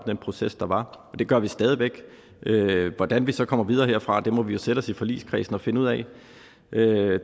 den proces der var og det gør vi stadig væk hvordan vi så kommer videre herfra må vi jo sætte os i forligskredsen og finde ud af det